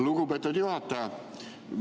Lugupeetud juhataja!